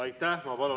Aitäh!